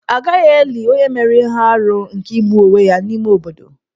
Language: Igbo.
A gaghị eli onye mere ihe arụ nke igbu onwe ya n'ime obodo.